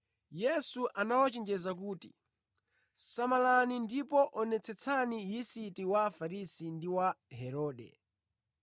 Yesu anawachenjeza kuti, “Samalani ndipo onetsetsani yisiti wa Afarisi ndi wa Herode.”